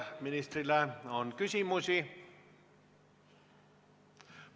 Kas ministrile on küsimusi?